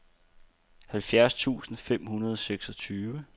halvfjerds tusind fem hundrede og seksogtyve